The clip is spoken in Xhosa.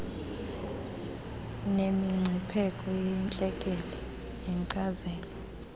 nemingcipheko yentlekele neenkcazelo